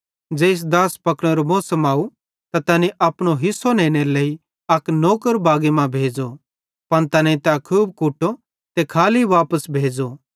ज़ेइस दाछ़ पकनेरो मौसम अव त तैनी अपनो हिस्सो नेनेरे लेइ अक नौकर भेज़ो पन तैनेईं तै खूब कुटो ते खाली वापस भेज़ो